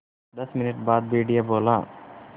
दस मिनट बाद भेड़िया बोला